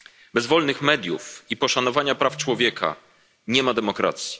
Bez wolnych mediów i poszanowania praw człowieka nie ma demokracji.